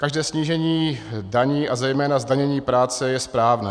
Každé snížení daní a zejména zdanění práce je správné.